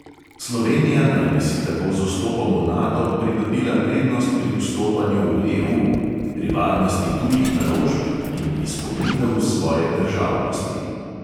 Slovenija naj bi si tako z vstopom v nato pridobila prednost pri vstopanju v EU, pri varnosti tujih naložb in "izpolnitev svoje državnosti".